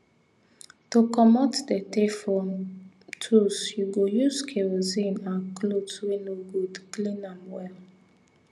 to commot dirty from tools you go use kerosene and cloth wey no good clean am well